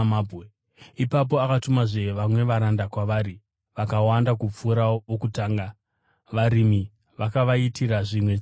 Ipapo akatumazve vamwe varanda kwavari, vakawanda kupfuura vokutanga, varimi vakavaitira zvimwe chetezvo.